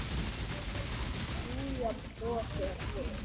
Júlía brosir við.